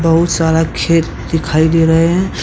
बहुत सारा खेत दिखाई दे रहे हैं।